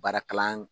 Baara kalan